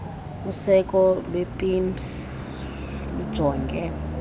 useko lwepimss lujonge